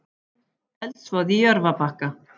Eldsvoði í Jörfabakka